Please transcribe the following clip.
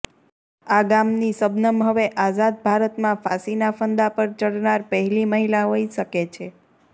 આ ગામની શબનમ હવે આઝાદ ભારતમાં ફાંસીના ફંદા પર ચઢનાર પહેલી મહિલા હોઈ શકે છે